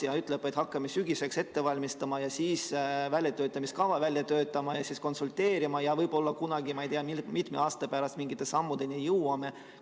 Ta ütleb, et hakkame sügiseks ette valmistama ja siis väljatöötamiskava välja töötama ja siis konsulteerima ja võib-olla kunagi, ma ei tea, mitme aasta pärast, me ka mingite sammudeni jõuame.